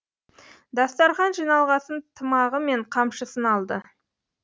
дастархан жиналғасын тымағы мен қамшысын алды